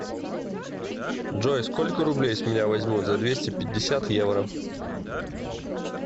джой сколько рублей с меня возьмут за двести пятьдесят евро